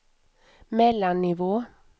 mellannivå